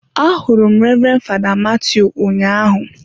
Ahụrụ m Reverend father Mathew ụnyahụ.